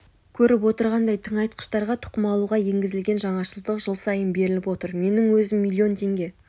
көріп отырғандай тыңайтқыштарға тұқым алуға енгізілген жаңашылдық жыл сайын беріліп отыр менің өзім млн теңге